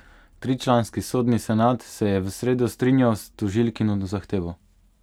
Tričlanski sodni senat se je v sredo strinjal s tožilkino zahtevo.